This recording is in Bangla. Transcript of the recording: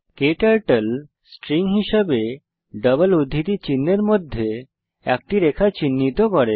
ক্টার্টল স্ট্রিং হিসেবে ডাবল উদ্ধৃতি চিহ্ন এর মধ্যে একটি রেখা চিহ্নিত করে